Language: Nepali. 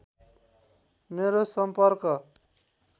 मेरो सम्पर्क